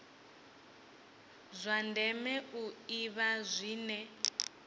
zwa ndeme u ḓivha zwine